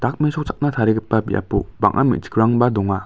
dakmesochakna tarigipa biapo bang·a me·chikrangba donga.